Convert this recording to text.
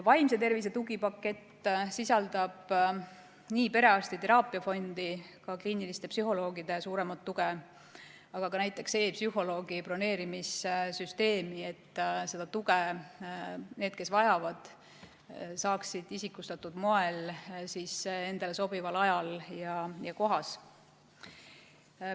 Vaimse tervise tugipakett sisaldab nii perearstide teraapiafondi, kliiniliste psühholoogide suuremat tuge, aga ka näiteks e‑psühholoogi broneerimissüsteemi, et seda tuge saaksid need, kes vajavad, isikustatud moel endale sobival ajal ja kohas.